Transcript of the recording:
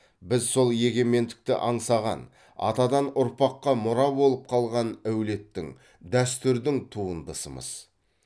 біз сол егемендікті аңсаған атадан ұрпаққа мұра болып қалған әулеттің дәстүрдің туындысымыз